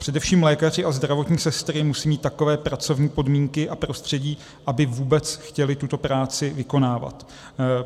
Především lékaři a zdravotní sestry musí mít takové pracovní podmínky a prostředí, aby vůbec chtěli tuto práci vykonávat.